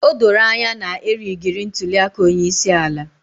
O doro anya na a rigiri ntuli aka onye isi ala.